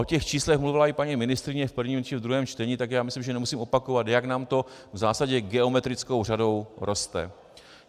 O těch číslech mluvila i paní ministryně v prvním či v druhém čtení, takže já myslím, že nemusím opakovat, jak nám to v zásadě geometrickou řadou roste.